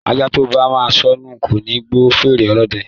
Ajá tóba máa sọnù koni gbọ́ fèrè Olódẹ